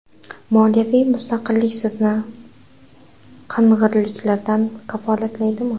Moliyaviy mustaqillik sizni qing‘irliklardan kafolatlaydimi?